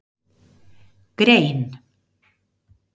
Grein